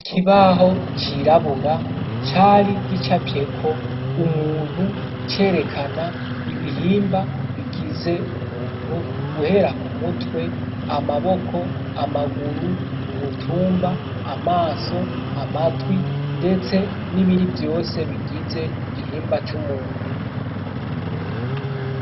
Ikibaho cirabura cari gicafyeko umuntu, cerekana ibihimba bigize umuntu guhera ku mutwe, amaboko amaguru, umutumba, amaso, amatwi ndetse n'ibindi vyose bigize igihimba c'umuntu.